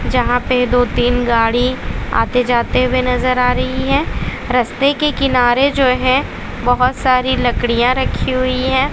जहां पर दो तीन गाड़ी आते जाते हुए नजर आ रही है रस्ते के किनारे जो है बहोत सारी लकड़ियां रखी हुई है।